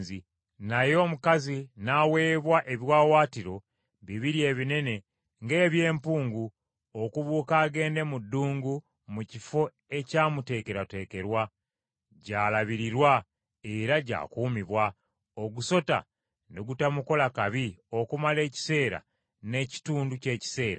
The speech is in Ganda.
Naye omukazi n’aweebwa ebiwaawaatiro bibiri ebinene ng’eby’empungu okubuuka agende mu ddungu mu kifo ekyamuteekerwateekerwa, gy’alabiririrwa era gy’akuumibwa, ogusota ne gutamukola kabi okumala ekiseera n’ekitundu ky’ekiseera.